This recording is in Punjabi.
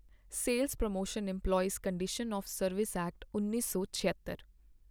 sales Promotion Employees Conditions of Service Act, ਉੱਨੀ ਸੌ ਛਿਅੱਤਰ,